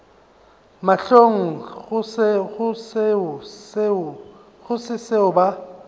mahlong go se seo ba